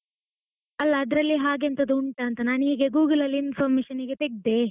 ಅಲ್ಲ ಅದರಲ್ಲಿ ಹಾಗೆ ಎಂತದೋ ಉಂಟಾ ಅಂತ, ನಾನು Google ಅಲ್ಲಿ information ಗೆ ತೆಗೆದೆ.